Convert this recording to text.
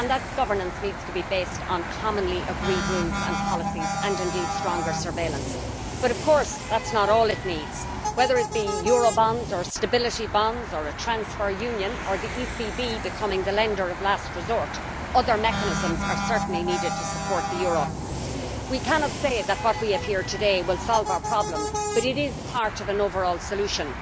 That governance needs to be based on commonly agreed rules and policies and, indeed, stronger surveillance. But of course that is not all it needs whether it be eurobonds or stability bonds or a transfer union or the ECB becoming the lender of last resort, other mechanisms are certainly needed to support the euro. We cannot say that what we have here today will solve our problems but it is part of an overall solution.